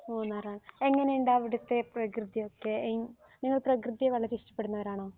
മൂന്നാർ ആഹ് എങ്ങിനെയുണ്ട് അവിടുത്തെ പ്രകൃതിയൊക്കെ നിങ്ങൾ പ്രകൃതിയെ വളരെ ഇഷ്ടപ്പെടുന്നവരാണോ